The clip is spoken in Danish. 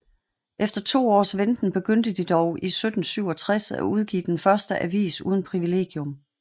Efter to års venten begyndte de dog i 1767 at udgive den første avis uden privilegium